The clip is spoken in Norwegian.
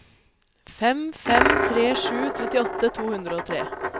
fem fem tre sju trettiåtte to hundre og tre